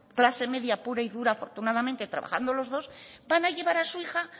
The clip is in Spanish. clase media pura y dura afortunadamente trabajando los dos van a llevar a su hija